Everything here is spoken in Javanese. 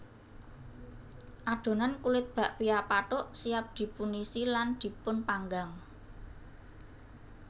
Adhonan kulit bakpia pathuk siap dipunisi lan dipunpanggang